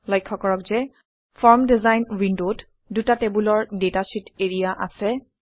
লক্ষ্য কৰক যে ফৰ্ম ডিজাইন উইণ্ডত দুটা টেবুলাৰ ডাটা শ্বিট এৰিয়া আছে